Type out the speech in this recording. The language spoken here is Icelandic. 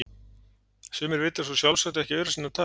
Sumir vita svo sjálfsagt ekki aura sinna tal!